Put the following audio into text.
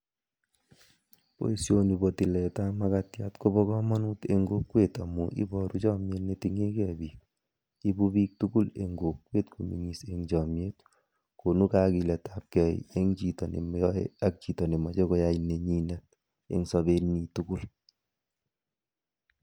Boisioni bo tiletab makatiat Kobo kamanut eng kokwet amu iboru chomnyet ne tingekei biik, ibu biik tugul eng kokwet komengis eng chomnyet, konu kakiletabgei eng chito ne yoe ak chito ne mache koyai nenyinet eng sobenyi tugul.